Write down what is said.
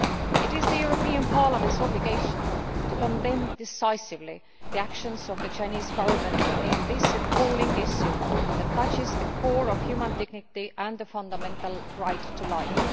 It is the European Parliament's obligation to condemn decisively the actions of the Chinese Government in this appalling issue that strikes at the heart of human dignity and the fundamental right to life.